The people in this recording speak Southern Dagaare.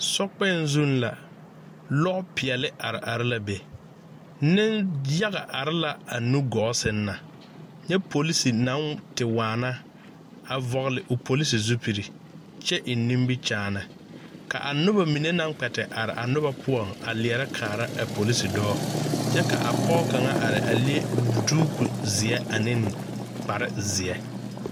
So kpɛŋ zuŋ la lɔɔ peɛli are are la be niŋ yaga are la a nu gɔɔ sɛŋ na nyɛ polsi naŋ te waana a vɔgli o polsi zupili kyɛ eŋ nimikyaani ka a noba mine naŋ kpɛte are a noba poɔŋ a leɛrɛ kaara a polisidɔɔ kyɛ ka a pɔge kaŋa a are a leŋ duuku zeɛ ane kpare zeɛ.